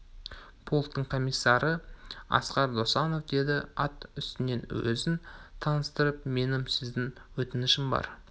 -полктың комиссары асқар досанов деді ат үстінен өзін таныстырып менің сізден өтінішім бар